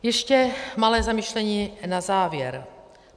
Ještě malé zamyšlení na závěr.